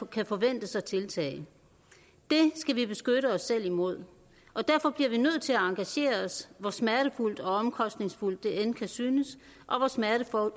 kan forventes at tiltage det skal vi beskytte os selv imod derfor bliver vi nødt til at engagere os hvor smertefuldt og omkostningsfuldt det end kan synes og hvor smertefuldt og